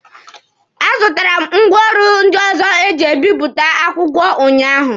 A zụtara m ngwaọrụ ndị ọzọ eji ebipụta akwụkwọ ụnyaahụ.